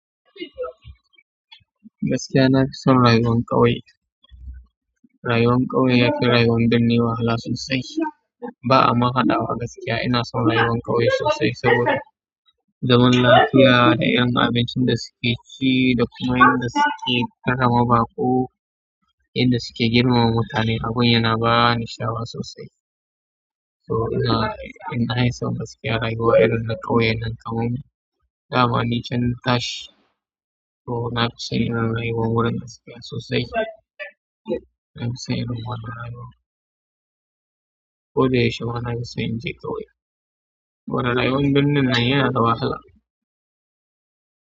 Gaskiya na fi son rayuwan ƙauye. Rayuwan ƙauye yafi rayuwan birni wahala sosai. Ba'a ma haɗawa gaskiya ina son rayuwar ƙauye sosai saboda zaman lafiya da irin abincin da suke ci da kuma yanda suke ƙarama baƙo, yanda suke girmama mutane, abin yana ba ni sha'awa sosai. To ina, ina son gaskiya rayuwa irin na ƙauye, nan kamun dama nican tashi. To na fi son irin rayuwar wurin sosai. Na fi son irin wannan rayuwa. Ko da yaushe ma na fi son in je ƙauye. Saboda rayuwar birnin nan yana da wahala.